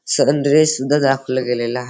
सन rise सुद्धा दाखवला गेलेला --